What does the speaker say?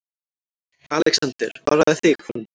ALEXANDER: Varaðu þig, frændi.